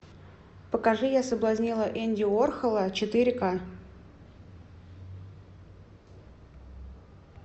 покажи я соблазнила энди уорхола четыре ка